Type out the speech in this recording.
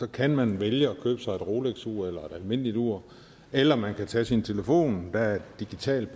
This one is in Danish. kan man vælge at købe sig et rolexur eller et almindeligt ur eller man kan tage sin telefon der er et digitalt